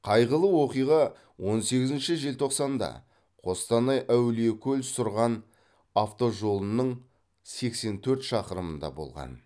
қайғылы оқиға он сегізінші желтоқсанда қостанай әулиекөл сұрған автожолының сексен төрт шақырымында болған